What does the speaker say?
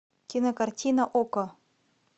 кинокартина окко